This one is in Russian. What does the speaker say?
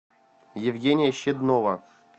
евгения щеднова